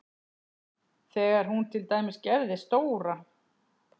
Þegar hún til dæmis gerði stóra